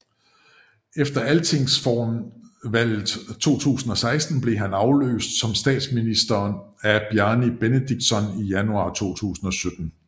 Efter Altingsvalget 2016 blev han afløst som statsminister af Bjarni Benediktsson i januar 2017